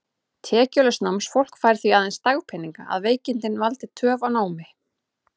Tekjulaust námsfólk fær því aðeins dagpeninga, að veikindin valdi töf á námi.